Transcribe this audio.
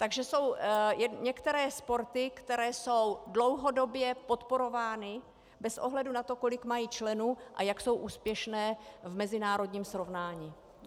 Takže jsou některé sporty, které jsou dlouhodobě podporovány bez ohledu na to, kolik mají členů a jak jsou úspěšné v mezinárodním srovnání.